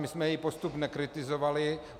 My jsme její postup nekritizovali.